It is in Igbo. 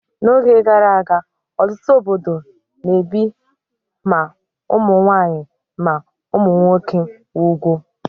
N'oge gara aga, ọtụtụ obodo na-ebi ma ụmụ nwaanyị ma ụmụ nwoke úgwù